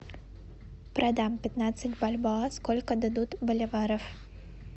продам пятнадцать бальбоа сколько дадут боливаров